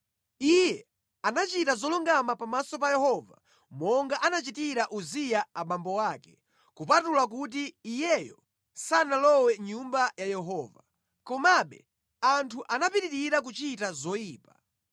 Iye anachita zolungama pamaso pa Yehova, monga anachitira Uziya abambo ake, kupatula kuti iyeyo sanalowe mʼNyumba ya Yehova. Komabe anthu anapitirira kuchita zoyipa.